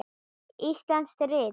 Íslensk rit